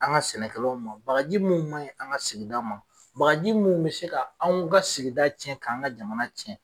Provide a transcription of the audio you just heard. An ka sɛnɛkɛlaw ma bagaji minnu ma ɲi an ka sigida ma bagaji minnu bɛ se ka anw ka sigida tiɲɛ k'an ka jamana tiɲɛ.